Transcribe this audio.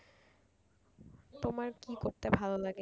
তোমার কি করতে ভালো লাগে?